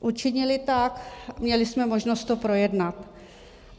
Učinili tak, měli jsme možnost to projednat.